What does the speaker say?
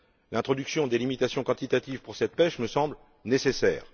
L'introduction de limitations quantitatives pour cette pêche me semble nécessaire.